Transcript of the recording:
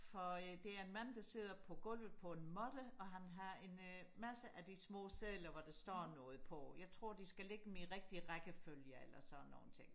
for øh det er en mand der sidder på gulvet på en måtte og han har en øh masse af de små sedler hvor der står noget på jeg tror de skal lægge dem i rigtig rækkefølge eller sådan nogle ting